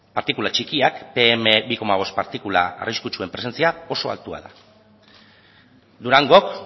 partikula txikiak pe eme bi bost partikula arriskutsuen presentzia oso altua da durangok